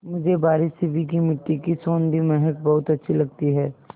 मुझे बारिश से भीगी मिट्टी की सौंधी महक बहुत अच्छी लगती है